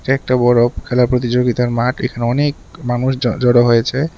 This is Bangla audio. এটা একটা বড় খেলা প্রতিযোগিতার মাঠ এখানে অনেক মানুষ জ জড়ো হয়েছে।